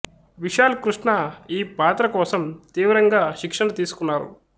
విశాల్ కృష్ణ ఈ పాత్ర కోసం తీవ్రంగా శిక్షణ తీసుకున్నారు